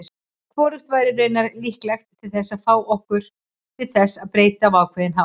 Hvorugt væri raunar líklega til þess að fá okkur til þess breyta á ákveðinn hátt.